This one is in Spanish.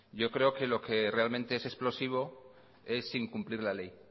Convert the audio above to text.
yo creo que lo que realmente es explosivo es incumplir la ley